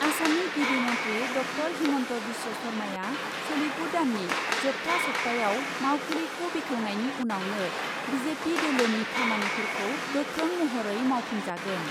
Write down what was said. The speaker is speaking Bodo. आसामनि गिबि मन्थ्रि डक्टर हिमन्त बिश्व शर्माया सोलिफु दाननि जोबथा सप्तायाव मावखुलिखौ बेखेवनायनि उनावनो बि जे पि दोलोनि खामानिफोरखौ गोख्रों महरै मावफुंजागोन।